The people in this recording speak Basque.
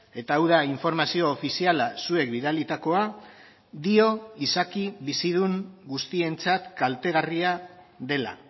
eta hau da informazio ofiziala zuek bidalitakoa dio izaki bizidun guztientzat kaltegarria dela